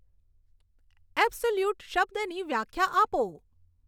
absolute શબ્દની વ્યાખ્યા આપો